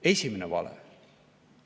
Esimene vale.